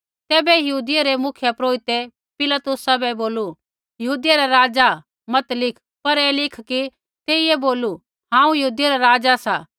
तैबै यहूदियै रै मुख्यपुरोहिते पिलातुसा बै बोलू यहूदियै रा राज़ा मत लिख पर ऐ लिख कि तेइयै बोलू हांऊँ यहूदियै रा राज़ा सा